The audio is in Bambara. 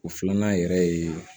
O filanan yɛrɛ ye